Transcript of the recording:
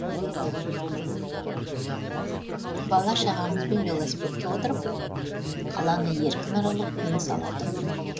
бала шағамызбен велосипедке отырып қаланы еркін аралап тыныс алатын күн